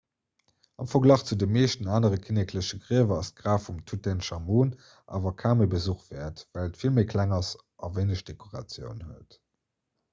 am verglach zu de meeschten anere kinnekleche griewer ass d'graf vum tutenchamun awer kaum e besuch wäert well et vill méi kleng ass a wéineg dekoratioun huet